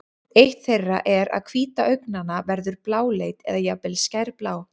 eitt þeirra er að hvíta augnanna verður bláleit eða jafnvel skærblá